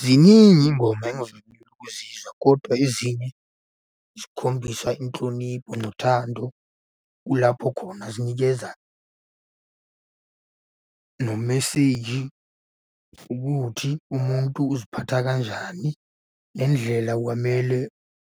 Ziningi iy'ngoma engizamile ukuzizwa, kodwa ezinye zikhombisa inhlonipho nothando. Kulapho khona zinikeza nomeseji, ukuthi umuntu uziphatha kanjani ngendlela kwamele